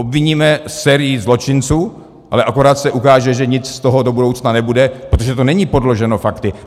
Obviníme sérii zločinců, ale akorát se ukáže, že nic z toho do budoucna nebude, protože to není podloženo fakty.